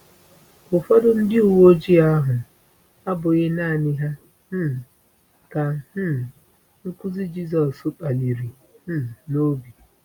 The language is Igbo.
Ụfọdụ ndị uwe ojii ahụ abụghị naanị ha um ka um nkuzi Jisọs kpaliri um n’obi.